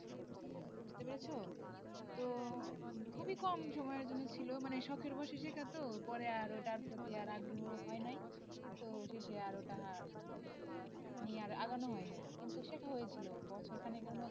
বুঝতে পেরেছো তো খুবই কম সময়ের জন্য ছিলো মানে শখের বসে শেখা তো পরে আর ওটার প্রতি আর আগ্রহ হয় নাই তো শেষে আর ওটা মানে নিয়ে আর আগানো হয়নি কিন্তু শেখা হয়েছিলো বছর খানিকের মত।